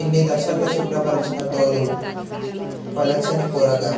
ఇన్ని దశల్లో శుభ్రపరచిన తోలు పలచనిపొరగా